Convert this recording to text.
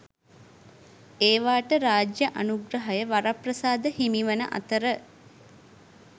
ඒවාට රාජ්‍ය අනුග්‍රහය වරප්‍රසාද හිමිවන අතර